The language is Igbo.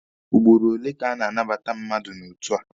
Ugboro ole ka a na-anabata mmadụ n'otu a?